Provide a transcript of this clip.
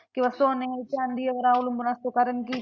किंवा सोने चांदीवर अवलंबून असतो. कारण की